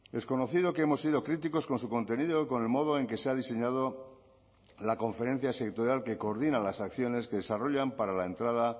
es conocido que hemos sido críticos con su contenido y con el modo en que se ha diseñado la conferencia sectorial que coordina las acciones que desarrollan para la entrada